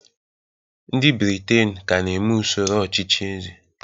ndị Britain ka na-eme usoro ọchịchị eze